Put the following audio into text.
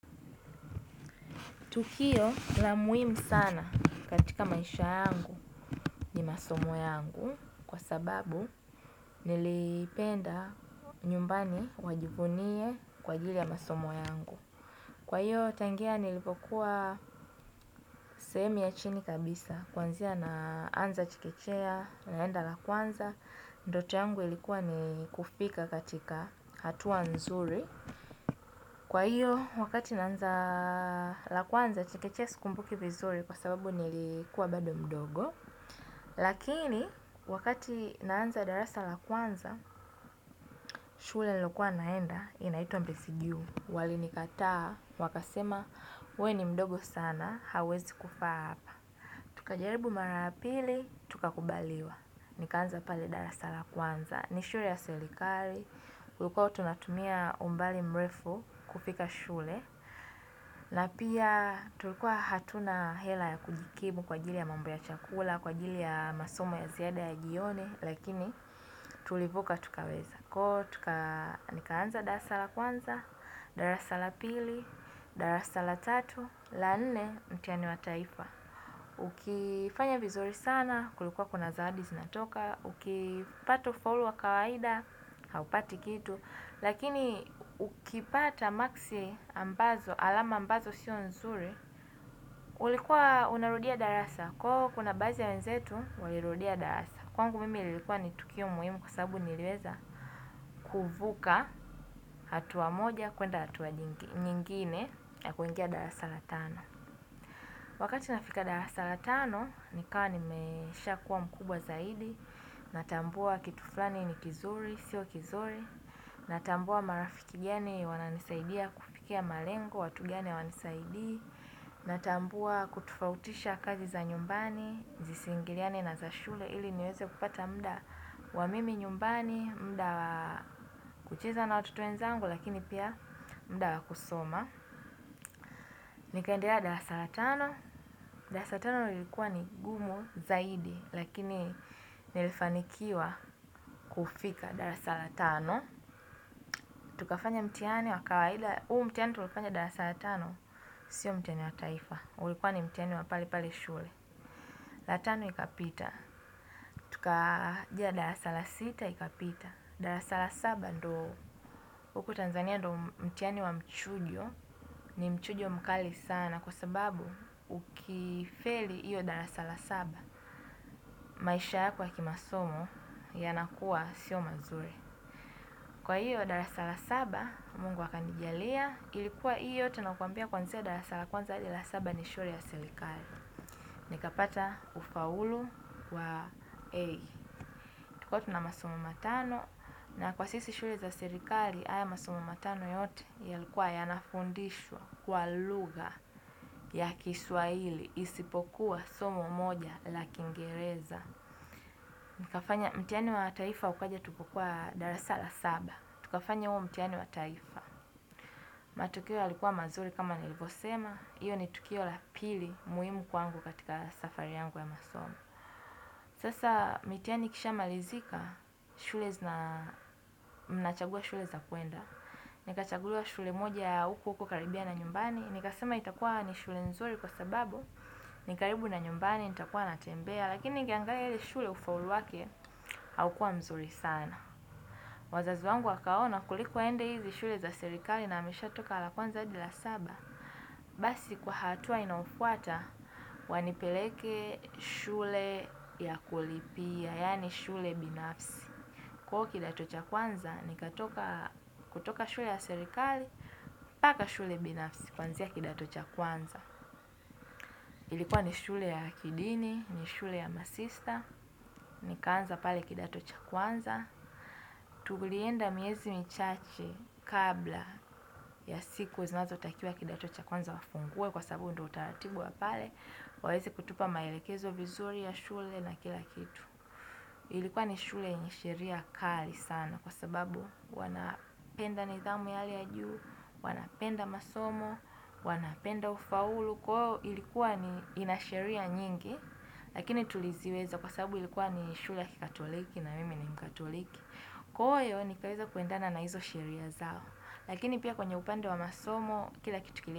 Tukio na muimu sana katika maisha yangu ni masomo yangu kwa sababu nilipenda nyumbani wajivunie kwa jili ya masomo yangu. Kwa hiyo tangia nilipokuwa sehemi ya chini kabisa. Kwanzia na anza chikechea, naenda lakuanza. Ndoto yangu ilikuwa ni kufika katika hatua nzuri. Kwa hiyo, wakati naanza la kwanza, chikechea skumbuki vizuri kwa sababu nilikuwa bado mdogo. Lakini, wakati naanza darasa la kwanza, shule lokua naenda, inaitu mbisigiu. Wali nikataa, wakasema, we ni mdogo sana, hauwezi kufaa apa. Tukajaribu mara ya pili, tukakubaliwa. Nikaanza pale darasa la kwanza. Ni shule ya selikali, kulukua tunatumia umbali mrefu kufika shule na pia tulukua hatuna hela ya kujikimu kwa jili ya mambu ya chakula, kwa jili ya masomo ya ziada ya jione. Lakini tulivuka tukaweza. Kwa tuka nikaanza darasala kwanza, daa sala pili, daa sala tatu, laane mtiani wa taifa. Ukifanya vizuri sana, kulukua kuna zaadi zinatoka. Ukipato follow wakawaida. Haupati kitu. Lakini ukipata maxi ambazo alama ambazo sio nzuri. Ulikuwa unarudia darasa. Kwa huo kuna bazi ya wenzetu. Walirudia darasa. Kwangu mimi ilikuwa nitukio muhimu. Kwa sababu nileweza kuvuka hatua moja kwenda hatua nyingine kuingia darasa la tano. Wakati nafika darasa la tano. Nikawa nimesha kuwa mkubwa zaidi. Natambua kituflani ni kizuri, sio kizuri. Natambua marafiki giani wananisaidia kufikia malengo, watugiani wanisaidi. Natambua kutufautisha kazi za nyumbani, zisingiriani na za shule. Ili niweze kupata muda wa mimi nyumbani, mda wa kucheza na watoto wenzangu lakini pia mda wa kusoma. Nikaendea darasala tano, darasa la tano ulikuwa ni gumu zaidi lakini nilifanikiwa kufika darasa la tano. Tukafanya mtiani wa kawaida, uu mtiani tulifanya darasa la tano, sio mtiani wa taifa, ulikuwa ni mtiani wa pali pali shule. Darasala tano ikapita, tukaja darasa lac sita ikapita kwa hiyo darasa la saba mungu akanijalia. Nikapata ufaulu kwa EI, tukotu na masomo matano na kwa sisi shure za sirikali aya masomo matano yote ya likuwa ya nafundishwa kwa lugha ya kiswaili isipokuwa somo moja la kingereza. Nikafanya mtiani wa taifa ukaja tukokuwa darasala saba, tukafanya uo mtiani wa taifa. Matukio ya likuwa mazuri kama nilvosema, iyo ni tukio la pili muimu kwangu katika safari yangu ya masomo. Sasa mitiani kisha malizika shule zina mnachagua shule za kuenda. Nikachagua shule moja ya uko uko karibia na nyumbani. Nikasema itakuwa ni shule nzuri kwa sababu nikaribu na nyumbani, nitakuwa natembea. Lakini nikiangali shule ufaulu wake aukua mzuri sana. Wazazi wangu wakaona kulikuwa ende hizi shule za serikali na amisha toka alakuan adila saba. Basi kwa hatua inaofuata wanipeleke shule ya kulipia yani shule binafsi. Kwa huo kidato ni katoka shule ya serikali hadi shule bninafsi. Ilikuwa ni shule ya kidini, ni shule ya masista, nikanza pale kidatocha kwanza. Tulienda miezi michache kabla ya siku, zinazo takia kidatocha kwanza wafungue kwa sabu ndo utaratibu wa pale. Wawezi kutupa maelekezo vizuri ya shule na kila kitu. Ilikuwa ni shule yenye shiria kali sana kwa sababu wanapenda nidhamu yale ya juu, wanapenda masomo, wanapenda ufaulu. Kwa huo ilikuwa ni shule yenye sheria nyingi ilikuwa ya kikatoliki na mimi ni mkatoliki. Kwa hiyo ni kareza kuendana na hizo shiria zao lakini pia kwenye upande wa masomo kila kitukile.